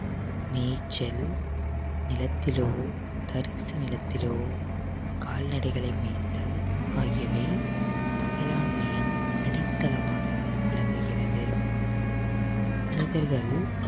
நீச்சல் நிலத்திலோ தரிசு நிலத்திலோ கால்நடைகளை மேய்த்தல் ஆகியவை வேளாண்மையின் அடித்தளமாக விளங்குகிறது மனிதர்கள்